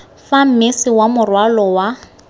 fa mmese wa morwalo wa